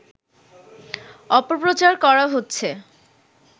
অপপ্রচার করা হচ্ছে